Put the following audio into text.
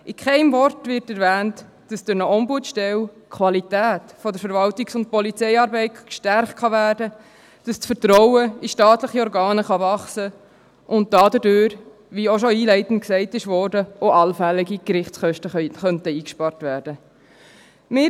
In keinem Wort wird erwähnt, dass durch eine Ombudsstelle die Qualität der Verwaltungs- und Polizeiarbeit gestärkt werden kann, dass das Vertrauen in staatliche Organe wachsen kann und dass dadurch, wie auch schon einleitend gesagt wurde, auch allfällige Gerichtskosten eingespart werden könnten.